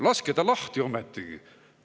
Laske ta lahti ometigi.